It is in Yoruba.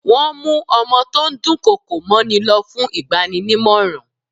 Wọ́n mú ọmọ tó ń dùn kọkò mọ́ ni lọ fún ìgbaninímọ̀ràn.